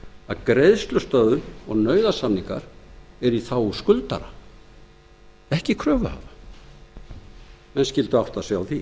að greiðslusöfnun og nauðasamningar eru í þágu skuldara ekki kröfuhafa menn skyldu átta sig á því